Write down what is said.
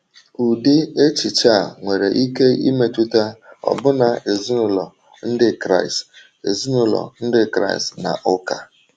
Ụdị echiche a nwere ike imetụta ọbụna ezinụlọ Ndị Kraịst ezinụlọ Ndị Kraịst na ụka.